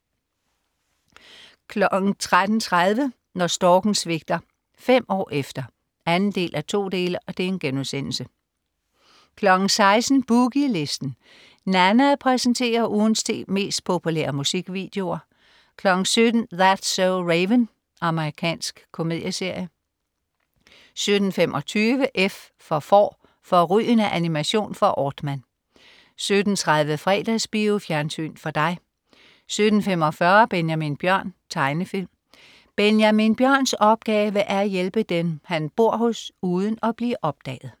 13.30 Når storken svigter. Fem år efter 2:2* 16.00 Boogie Listen. Nanna præsenterer ugens ti mest populære musikvideoer 17.00 That's so Raven. Amerikansk komedieserie 17.25 F for Får. Fårrygende animation fra Aardman 17.30 Fredagsbio. Fjernsyn for dig 17.45 Benjamin Bjørn. Tegnefilm. Benjamin Bjørns opgave er at hjælpe dem, han bor hos, uden at blive opdaget